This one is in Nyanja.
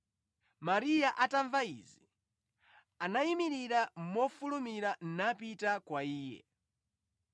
Mariya atamva izi, anayimirira mofulumira napita kwa Iye.